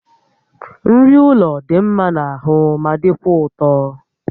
Nri ụlọ dị mma n'ahụ ma dịkwa ụtọ